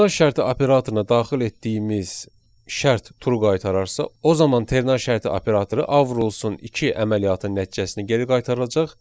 Ternar şərti operatoruna daxil etdiyimiz şərt true qaytararsa, o zaman ternar şərti operatoru A vurulsun 2 əməliyyatının nəticəsini geri qaytaracaq.